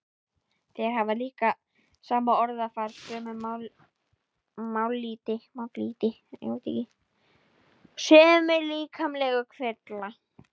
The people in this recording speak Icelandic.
Þeir hafa líka sama orðafar, sömu mállýti, sömu líkamlegu kvilla.